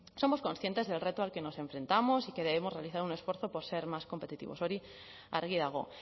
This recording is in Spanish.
somos conscientes del reto al que nos enfrentamos y que debemos realizar un esfuerzo por ser más competitivos hori argi dago